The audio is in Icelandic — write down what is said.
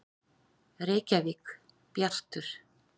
Reykjavík: Bjartur.